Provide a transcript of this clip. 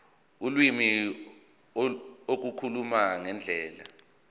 ulimi ukukhuluma ngendlela